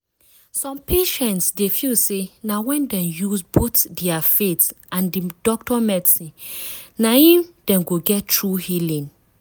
some patients dey feel say na when dem use both dia faith and di doctor medicine na im dem go get true healing.